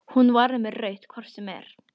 Hún var með rautt hvort sem er.